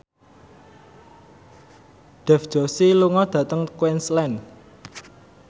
Dev Joshi lunga dhateng Queensland